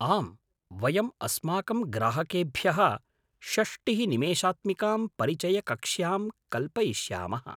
आम्, वयम् अस्माकं ग्राहकेभ्यः षष्टिः निमेषात्मिकां परिचयकक्ष्याम् कल्पयिष्यामः।